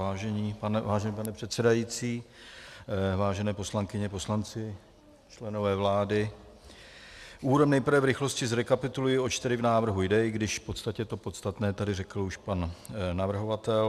Vážený pane předsedající, vážené poslankyně, poslanci, členové vlády, úvodem nejprve v rychlosti zrekapituluji, oč tedy v návrhu jde, i když v podstatě to podstatné tady řekl už pan navrhovatel.